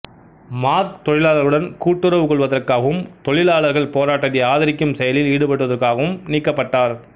mark தொழிலாளர்களுடன் கூட்டுறவு கொள்வதற்காகவும் தொழிலாளர்கள் போராட்டத்தை ஆதரிக்கும் செயலில் ஈடுபட்டதற்காகவும் நீக்கப்பட்டார்